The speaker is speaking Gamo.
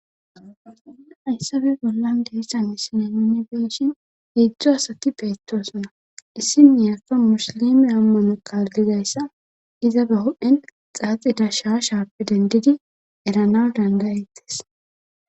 Hayssape bollan deessha missine unibeshin iidzdzo asati beetosna issin miyaka musilime ammano kaardizayssa iza ba hu'en xaaxida shaa shaapi dendidi erana dangayettes.